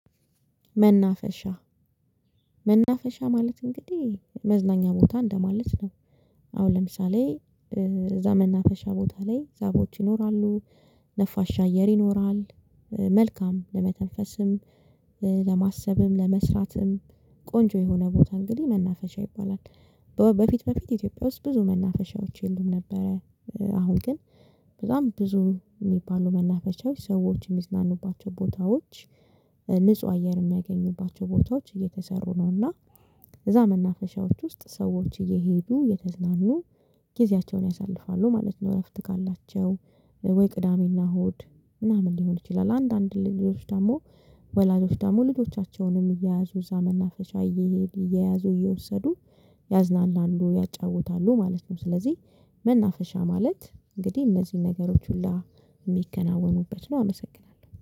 መናፈሻ መናፈሻ ማለት እንግዲህ መዝናኛ ቦታ እንደማለት ነው። አሁን ለምሳሌ እዛ መናፈሻ ቦታ ላይ ዛፎች ይኖራሉ። ነፋሻ አየር ይኖራል። መልካም ለመተንፈስም ለማሰብም ለመስራትም ቆንጆ የሆነ ቦታ እንግዲህ መናፈሻ ይባላል። በፊት በፊት ኢትዮጵያ ውስጥ ብዙ መናፈሻዎች የሉም ነበረ። አሁን ግን በጣም ብዙ ሚባሉ መናፈሻዎች ሰዎች ሚዝናኑባቸው ቦታዎች። ንጹህ አየር የሚያገኙባቸው ቦታዎች እየተሰሩ ነውና። እዛ መናፈሻዎች ውስጥ ሰዎች እየሄዱ እየተዝናኑ ጊዜያቸውን ያሳልፋሉ ማለት ነው። እረፍት ካላቸው ወይ ቅዳሜና እሁድ ምናምን ሊሆን ይችላል። አንዳንድ ልጆች ደግሞ ወላጆች ደግሞ ልጆቻቸውንም እየያዙ እዛ መናፈሻ እየሄዱ እየያዙ እየወሰዱ ያዝናናሉ ያጫውታሉ ማለት ነው። ስለዚህ መናፈሻ ማለት እንግዲህ እነዚህን ነገሮች ሁላ የሚከናወኑበት ነው። አመሰግናለሁ